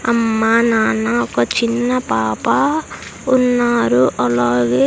అమ్మ నాన్న ఒక చిన్న పాప ఉన్నారు అలాగే.